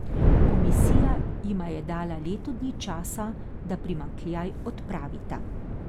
Komisija jima je dala leto dni časa, da primanjkljaj odpravita.